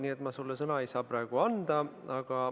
Nii et ma sulle sõna ei saa praegu anda.